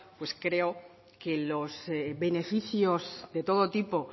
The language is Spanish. pues creo que los beneficios de todo tipo